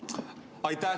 Aitäh!